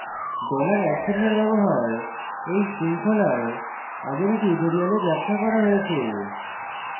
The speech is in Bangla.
dollar @চিন্হের ব্যবহার এই শৃঙ্খলার আগের tutorials ব্যাখ্যা করা হয়েছে